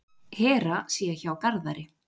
Hera sé hjá Garðari.